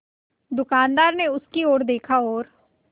दुकानदार ने उसकी ओर देखा और